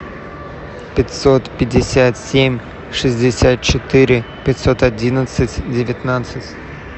пятьсот пятьдесят семь шестьдесят четыре пятьсот одиннадцать девятнадцать